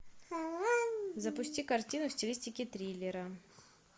запусти картину в стилистике триллера